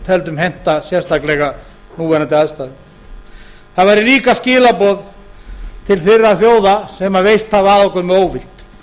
teldum henta sérstaklega við núverandi aðstæður það væru líka skilaboð til þeirra þjóða sem veist hafa að okkur með óvild